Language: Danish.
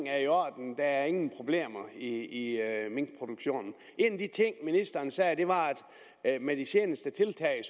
er i orden at der ingen problemer er i minkproduktionen en af de ting ministeren sagde var at med de seneste tiltag